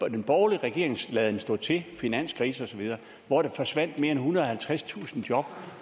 af den borgerlige regerings laden stå til finanskrise osv hvor der forsvandt mere end ethundrede og halvtredstusind job